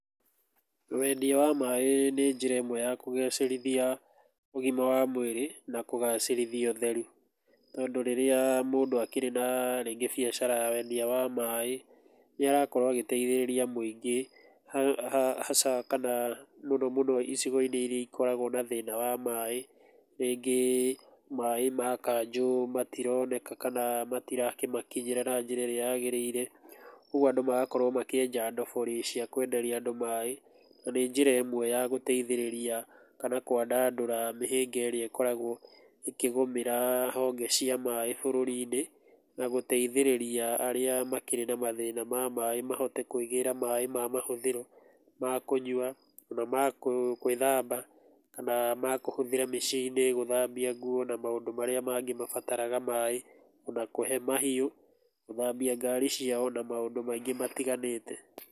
Wendia wa maĩ nĩ njĩra ĩmwe ya kũgacĩrithia ũgĩma wa mwĩrĩ na kũgacĩrithia ũtheru. Tondũ rĩrĩa mũndũ akĩrĩ na rĩngĩ bĩacara ya wendia wa maĩ, nĩ arakorwo agĩteithĩrĩria mũingĩ hasa kana mũno mũno icigo-inĩ iria ikoragwo na thĩna wa maĩ. Rĩngĩ maĩ ma kanjũ matironeka kana matirakinya na njĩra ĩrĩa yagĩrĩire, ũguo andũ magakorwo makienja ndobori cia kwenderia andũ maĩ, na nĩ njĩra ĩmwe ya gũteithĩrĩria kana kwandandũra mĩhĩnga ĩrĩa ĩkoragwo ĩkĩgũmĩra honge cia maĩ bũrũri-inĩ, na gũteithĩrĩria arĩa makĩrĩ na mathĩna ma maĩ mahote kũĩgĩra maĩ ma mahũthĩro, makũnyua, ona ma gwĩthamba, kana makũhũthĩra mĩciĩ-inĩ, gũthambia nguon na maũndũ marĩa mangĩ mabataraga maĩ na kũhe mahiũ, gũthambia ngari ciao na maũndũ maingĩ matiganĩte.